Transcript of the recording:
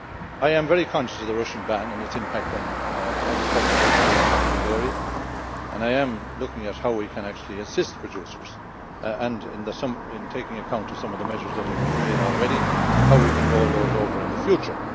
I am very conscious of the Russian ban and its impact on agricultural exports from dairy, and I am looking into how we can actually assist producers and, in taking account of some of the measures that have been made already, how we can roll those over in the future.